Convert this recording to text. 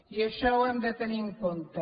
i això ho hem de tenir en compte